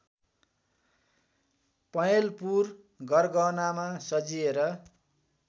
पहेँलपुर गरगहनामा सजिएर